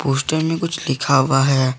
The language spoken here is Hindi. पोस्टर में कुछ लिखा हुआ है।